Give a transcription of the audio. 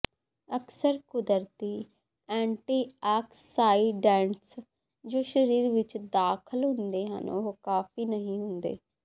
ਅਕਸਰ ਕੁਦਰਤੀ ਐਂਟੀਆਕਸਾਈਡੈਂਟਸ ਜੋ ਸਰੀਰ ਵਿੱਚ ਦਾਖਲ ਹੁੰਦੇ ਹਨ ਉਹ ਕਾਫ਼ੀ ਨਹੀਂ ਹੁੰਦੇ